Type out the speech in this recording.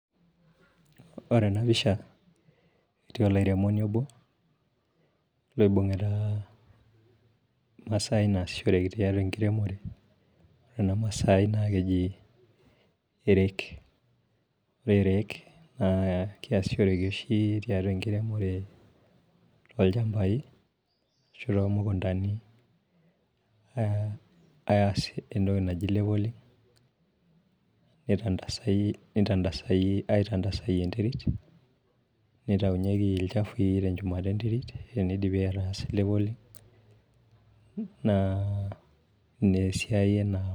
Ore ena pisha netii olairemoni obo, oibungita emasaai naasishoreki tenkiremore, ena masaai naa keji ereek, ore ereek naa keyasishoreki oshi, tiatua enkiremore olchampai ashu too mukuntani, asie entoki naji leveling nitantasae, aitantasayie enterit, nitayu yeki ilchafui. Tenchumata enterit teneidipi ataasie leveling naa Ina esiai ena.